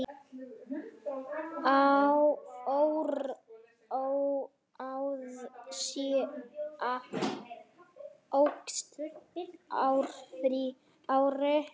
Óráðsía óx ár frá ári.